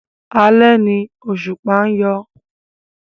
Alẹ́ ni òṣùpá ń yọ.